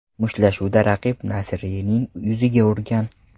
Mushtlashuvda raqibi Naserining yuziga urgan.